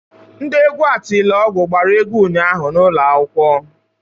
Ndị egwu Atilogwu gbara egwu ụnyaahụ n'ụlọ akwụkwọ.